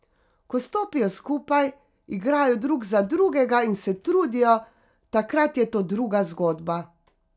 Ko stopijo skupaj, igrajo drug za drugega in se trudijo, takrat je to druga zgodba.